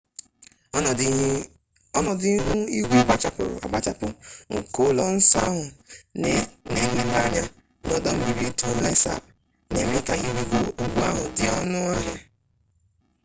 ọnọdụ ihu igwe gbachapụrụ agbachapụ nke ụlọ nsọ ahụ na nlele anya na ọdọ mmiri tonle sap na-eme ka ịrịgo ugwu ahụ dị ọnụ ahịa